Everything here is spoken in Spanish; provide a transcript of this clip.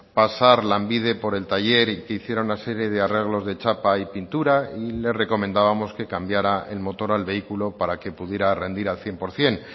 pasar lanbide por el taller y que hiciera una serie de arreglos de chapa y pintura y le recomendábamos que cambiara el motor al vehículo para que pudiera rendir al cien por ciento